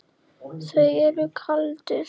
Þú ert kaldur!